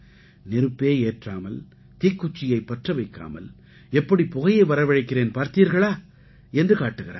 நெருப்பே ஏற்றாமல் தீக்குச்சியைப் பற்ற வைக்காமல் எப்படி புகையை வரவழைக்கிறேன் பார்த்தீர்களா என்று காட்டுகிறார்கள்